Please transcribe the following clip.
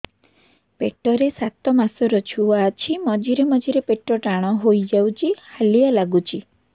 ପେଟ ରେ ସାତମାସର ଛୁଆ ଅଛି ମଝିରେ ମଝିରେ ପେଟ ଟାଣ ହେଇଯାଉଚି ହାଲିଆ ଲାଗୁଚି